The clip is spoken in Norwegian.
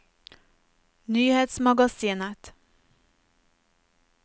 nyhetsmagasinet